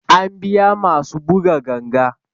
An biya masu buga ganga